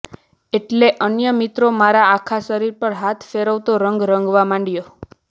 એટલે અન્ય મિત્ર મારા આખા શરીર પર હાથ ફેરવતો રંગ રંગવા માંડ્યો